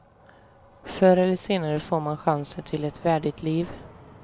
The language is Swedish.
Förr eller senare får man chansen till ett värdigt liv.